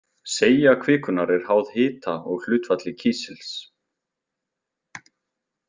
Seigja kvikunnar er háð hita og hlutfalli kísils.